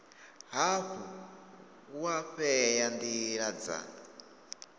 hafhu wa vhea ndila dza